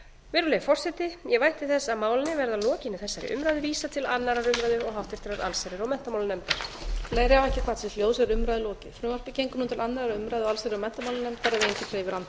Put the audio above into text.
virðulegi forseti ég vænti þess að málinu verði að lokinni þessari umræðu vísað til annarrar umræðu og háttvirtrar allsherjar og menntamálanefndar